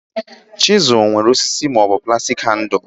Chizul nwere osisi ma ọ bụ plastic handles